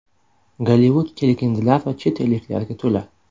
Gollivud kelgindilar va chet elliklarga to‘la.